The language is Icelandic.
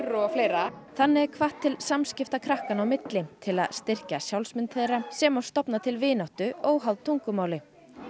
og fleira þannig er hvatt til samskipta krakkanna á milli til að styrkja sjálfsmynd þeirra sem og stofna til vináttu óháð tungumáli